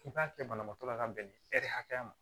K'i b'a kɛ banabaatɔ la ka bɛn ni hakɛya ma